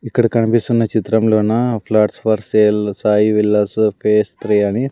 ఇక్కడ కనిపిస్తున్న చిత్రంలోనా flats for sale Sai villas phase three అని.